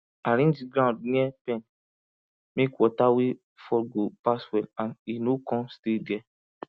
arrange ground near pen make water wey fall go pass well and e no come stay there